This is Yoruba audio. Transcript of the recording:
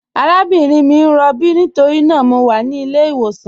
Àràbìnrin mi n rọ̀bí nítorína mọ̀ wà ní ilẹ̀-ìwọsàn.